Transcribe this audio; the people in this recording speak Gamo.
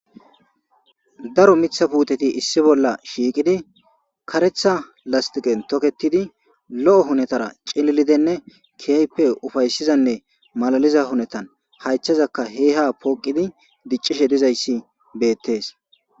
daro mitha puuteti issi bolla shiiqidi karetha lastiqen toketidi lo7o hunetara cililidenne kiyayppe ufayssizanne malaliza hunetan haychazaka he ha pooqidi diccishe dizayssi beettes